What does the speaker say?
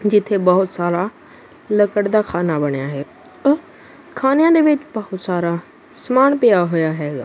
ਜਿਥੇ ਬਹੁਤ ਸਾਰਾ ਲੱਕੜ ਦਾ ਖਾਨਾ ਬਣਿਆ ਹੈ ਖਾਨਿਆਂ ਦੇ ਵਿੱਚ ਬਹੁਤ ਸਾਰਾ ਸਮਾਨ ਪਿਆ ਹੋਇਆ ਹੈਗਾ।